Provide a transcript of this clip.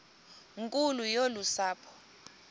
nkulu yolu sapho